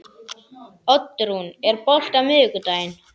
Oddrún, er bolti á miðvikudaginn?